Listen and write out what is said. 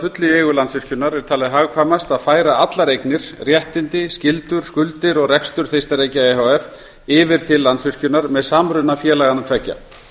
fullu í eigu landsvirkjunar er talið hagkvæmast að færa allar eignir réttindi skyldur skuldir og rekstur þeistareykja e h f yfir til landsvirkjunar með samruna félaganna tveggja